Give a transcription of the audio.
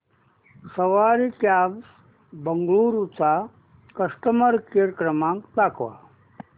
सवारी cabs Bengaluru चा customer care क्रमांक दाखवा